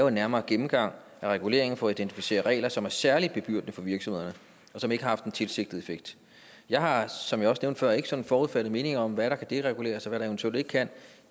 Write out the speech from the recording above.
en nærmere gennemgang af reguleringen for at identificere regler som er særligt bebyrdende for virksomhederne og som ikke har haft den tilsigtede effekt jeg har som jeg også nævnte før ikke sådan forudfattede meninger om hvad der kan dereguleres og hvad der eventuelt ikke kan